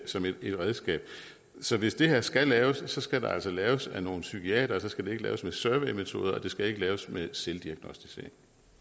som et redskab så hvis det her skal laves skal det altså laves af nogle psykiatere og det skal ikke laves med surveymetoder og det skal ikke laves med selvdiagnosticering